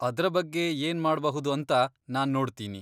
ಅದ್ರ ಬಗ್ಗೆ ಏನ್ ಮಾಡ್ಬಹುದು ಅಂತ ನಾನ್ ನೋಡ್ತೀನಿ.